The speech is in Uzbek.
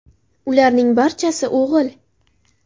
Ularning barchasi o‘g‘il.